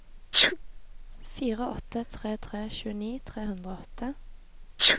fire åtte tre tre tjueni tre hundre og åtte